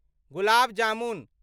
gulab jamun